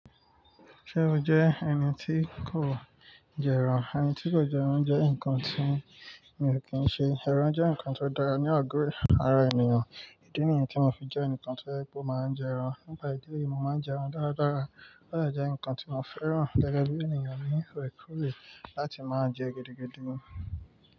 Ṣe o jẹ ẹni tí kò jẹ ẹran? Ẹni tí kò jẹ ẹran jẹ nkan tí mi ò kí ń ṣe. Éran jé nkan tó dára ní àgọ ara ènìyàn. Ìdí nìyẹn tí mo fi jẹ́ ẹnìkan tó je wipe o máa ń jẹ ẹran. Nípa ìdí èyí, mo máa ń jẹ ẹran dára dára. Ó dẹ jẹ́ nǹkan tí mo fẹ́ràn. Gẹ́gẹ́ bí ènìyàn, mi o kù lè láti máa jẹ gidi gidi mọ.